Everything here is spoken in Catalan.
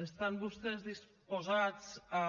estan vostès disposats a